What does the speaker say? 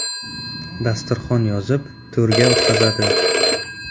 Dasturxon yozib, to‘rga o‘tqazadi.